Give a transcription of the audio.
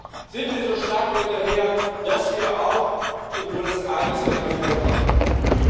Deswegen sind wir so stark dahinterher, dass wir auch in Buenos Aires einen Erfolg haben werden.